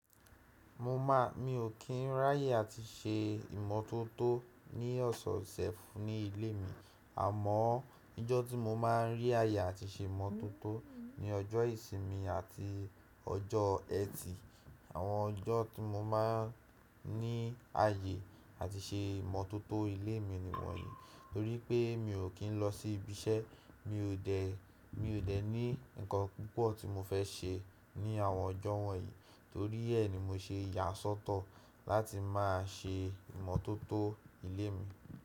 Mo maa, mi ò kí ń ráyè àti ṣe ìmọ̀tótó ní ọ̀sọ̀sẹ̀ fún ilé mi. Àmọ́ ijọ́ tí mo máa ń rí àyè àti ṣe ìmọ̀tótó ni ọjọ́ ìsinmi àti ọjọ́ ẹtì. Àwọn ọjọ́ tí mo máa ń ní àyè àti ṣe ìmọ̀tótó ilé mi ni wọ̀nyí, torí pé mi ò kí ń lọ sí ibi iṣẹ́. Mi ò dẹ̀, mi ò dẹ̀ ní ǹkan púpọ̀ tí mo fẹ́ ṣe ní àwọn ọjọ́ wọ̀nyí, torí ẹ́ ni mo ṣe yà sọ́tọ̀ láti máa ṣe ìmọ̀tótó ilé mi.